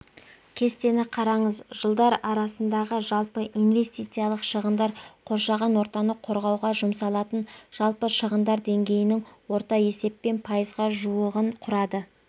кестені қараңыз жылдар арасындағы жалпы инвестициялық шығындар қоршаған ортаны қорғауға жұмсалатын жалпы шығындар деңгейінің орта есеппен пайызға жуығын құрады